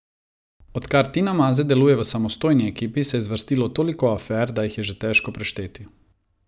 Odkar Tina Maze deluje v samostojni ekipi, se je zvrstilo toliko afer, da jih je že težko prešteti.